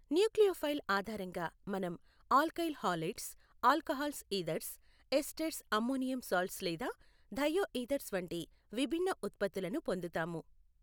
Nucleophile ఆధారంగా మనం alkyl halides alcohols ethers esters ammonium salts లేదా థయోఈథర్స్ వంటి విభిన్న ఉత్పత్తులను పొందుతాము.